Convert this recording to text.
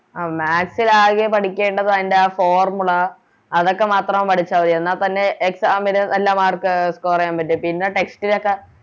ആ Maths ൽ ആകെ പഠിക്കേണ്ടത് അയിൻറെ ആ Formula അതൊക്കെ മാത്രം പഠിച്ച മതി എന്ന തന്നെ Exam ന് നല്ല Mark score ചെയ്യാൻ പറ്റും പിന്നെ Text ലോക്കെ